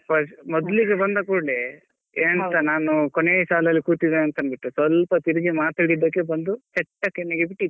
ಮೊದ್ಲಿಗೆ ಬಂದ ಕೂಡ್ಲೆ ಎಂತ ನಾನು ಕೊನೆಯ ಸಾಲಲ್ಲಿ ಕೂತಿದ್ದೆ ಅಂತ ಅಂತಂದ್ಬಿಟ್ಟು ಸ್ವಲ್ಪ ತಿರುಗಿ ಮಾತಾಡಿದಕ್ಕೆ ಬಂದು ಚೆಟ್ಟ ಕೆನ್ನೆಗೆ ಬಿಟ್ಟಿದು.